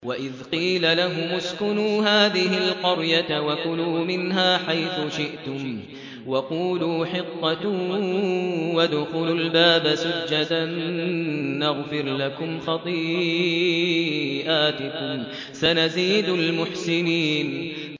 وَإِذْ قِيلَ لَهُمُ اسْكُنُوا هَٰذِهِ الْقَرْيَةَ وَكُلُوا مِنْهَا حَيْثُ شِئْتُمْ وَقُولُوا حِطَّةٌ وَادْخُلُوا الْبَابَ سُجَّدًا نَّغْفِرْ لَكُمْ خَطِيئَاتِكُمْ ۚ سَنَزِيدُ الْمُحْسِنِينَ